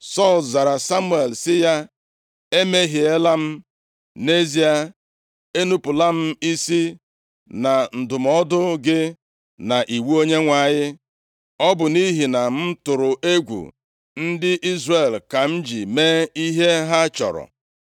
Sọl zara Samuel sị ya, “Emehiela m. Nʼezie, enupula m isi na ndụmọdụ gị na nʼiwu Onyenwe anyị. Ọ bụ nʼihi na m tụrụ egwu ndị Izrel ka m ji mee ihe ha chọrọ.